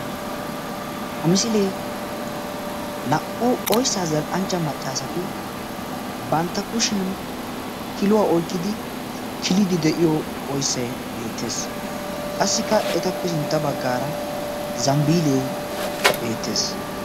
Ha misilee naa"u oyssaa zal"anchcha maccaasati bantta kushiyaan kiluwaa iyqqidi killiidi de'iyoo oyssay beettes. qassikka etappe sintta baggara zambbilee beettees.